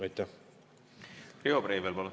Riho Breivel, palun!